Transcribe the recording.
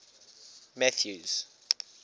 mathews